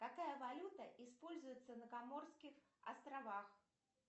какая валюта используется на коморских островах